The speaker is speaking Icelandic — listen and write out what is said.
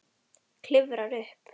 Klifrar upp.